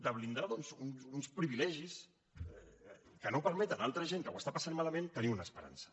de blindar doncs uns privilegis que no permeten a altra gent que ho està passant malament tenir una esperança